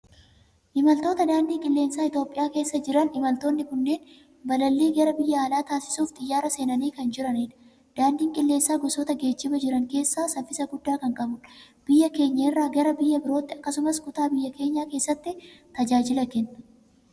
Imaltoota daandii qilleensaa Itoophiyaa keessa jiran. Imaltoonni kunneen balallii gara biyya alaa taasisuuf xiyyaara seenanii kan jiranidha. Daandiin qilleensaa gosoota geejjibaa jiran keessaa saffisa guddaa kan qabudha. Biyya keenya irraa gara biyya birootti akkasumas kutaa biyya keenyaa keessatti tajaajila kenna.